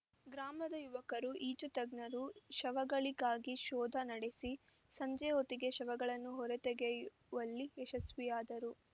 ಗ್ರಾಮದ ಯುವಕರು ಈಜು ತಜ್ಞರು ಶವಗಳಿಗಾಗಿ ಶೋಧ ನಡೆಸಿ ಸಂಜೆ ಹೊತ್ತಿಗೆ ಶವಗಳನ್ನು ಹೊರ ತೆಗೆಯುವಲ್ಲಿ ಯಶಸ್ವಿಯಾದರು